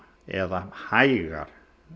eða hægar